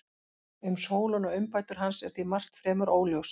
Um Sólon og umbætur hans er því margt fremur óljóst.